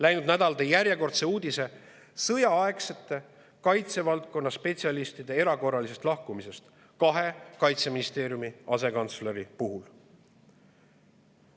Läinud nädal tõi järjekordse uudise kaitsevaldkonna sõjaaegsete spetsialistide, Kaitseministeeriumi kahe asekantsleri erakorralisest lahkumisest.